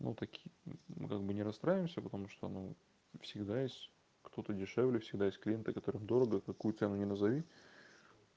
ну таки мы как бы не расстраиваемся потому что ну всегда есть кто-то дешевле всегда есть клиенты которым дорого какую цену не назови